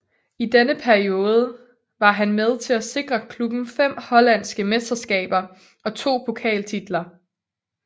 I denne periode var han med til at sikre klubben fem hollandske mesterskaber og to pokaltitler